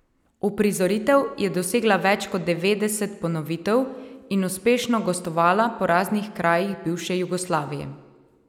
Uprizoritev je dosegla več kot devetdeset ponovitev in uspešno gostovala po raznih krajih bivše Jugoslavije.